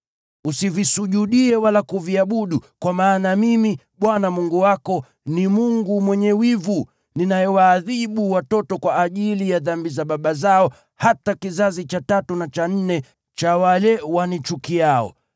Usivisujudie wala kuviabudu; kwa kuwa Mimi, Bwana Mungu wako, ni Mungu mwenye wivu, ninayewaadhibu watoto kwa ajili ya dhambi za baba zao hadi kizazi cha tatu na cha nne cha wanichukiao,